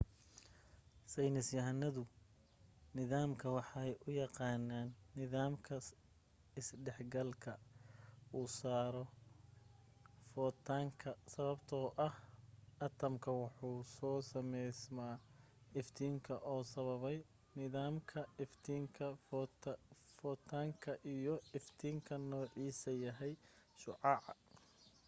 saynis yahanadu nidaamkan waxay u yaqaanaan nidaamka isdhex galka u soo saaro fotanka sababto ah atamka wuxuu ku sameysma iftiinka uu sababay nidaamka iftiinka fotanka iyo iftiinka noocisa yahay shucaca